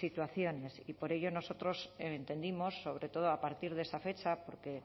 situaciones y por ello nosotros entendimos sobre todo a partir de esa fecha porque